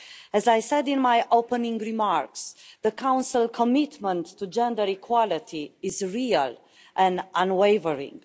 As I said in my opening remarks, the Council commitment to gender equality is real and unwavering.